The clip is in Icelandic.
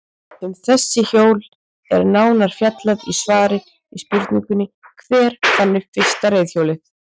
Um þessi hjól er nánar fjallaði í svari við spurningunni Hver fann upp fyrsta reiðhjólið?